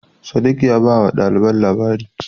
Sadiq ya bawa ɗaliban labari.